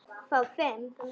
Ég á bara lítið.